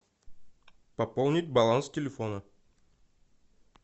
пополнить баланс телефона